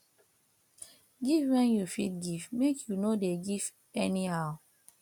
giv wen yu fit giv mek yu no go dey giv anyhow